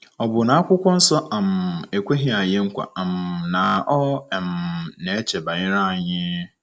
Ọ bụ na Akwụkwọ Nsọ um ekweghị anyị nkwa um na ọ um na-eche banyere anyị?